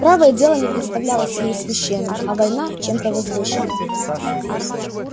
правое дело не представлялось ей священным а война чем-то возвышенным